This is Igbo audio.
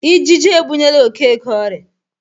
Ijiji ebunyela Okeke oria.